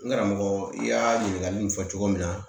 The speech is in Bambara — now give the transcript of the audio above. N karamɔgɔ i y'a ɲininkali in fɔ cogo min na